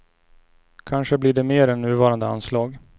Kanske blir det mer än nuvarande anslag.